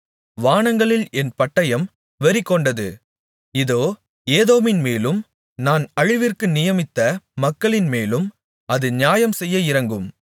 வானங்களில் என் பட்டயம் வெறிகொண்டது இதோ ஏதோமின்மேலும் நான் அழிவிற்கு நியமித்த மக்களின்மேலும் அது நியாயம்செய்ய இறங்கும்